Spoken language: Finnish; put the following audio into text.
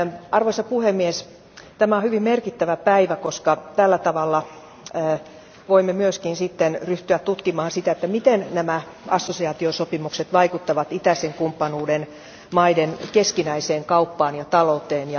Arvoisa puhemies, tämä on hyvin merkittävä päivä, koska tällä tavalla voimme myöskin sitten ryhtyä tutkimaan sitä, että miten nämä assosiaatiosopimukset vaikuttavat itäisen kumppanuuden maiden keskinäiseen kauppaan ja talouteen.